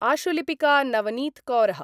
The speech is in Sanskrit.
आशुलिपिका नवनीतकौरः